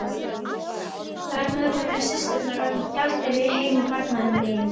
Þar með vorum við systurnar orðnar gjaldeyrir í heimi barnaníðinga.